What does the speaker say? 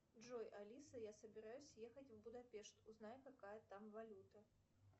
джой алиса я собираюсь ехать в будапешт узнай какая там валюта